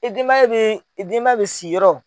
I denbaya bɛ i denbaya bɛ siyɔrɔ.